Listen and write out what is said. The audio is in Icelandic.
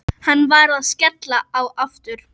Hann var að skella á aftur.